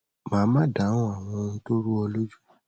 màá má a dáhùn àwọn ohun tó rú ọ lójú